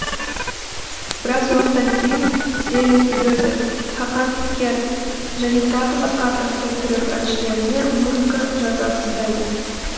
біраз уақыттан кейін зеррин езер хакан пекер және тағы басқа атақты түрік әншілеріне музыка жаза бастайды